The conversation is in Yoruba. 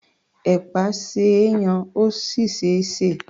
Ẹ̀pà ṣe é yan, ó sì ṣe é sè.